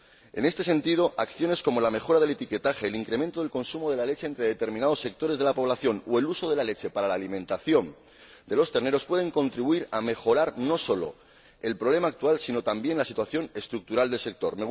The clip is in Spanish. En este sentido, acciones como la mejora del etiquetaje, el incremento del consumo de la leche entre determinados sectores de la población o el uso de la leche para la alimentación de los terneros pueden contribuir a mejorar no sólo el problema actual sino también la situación estructural del sector.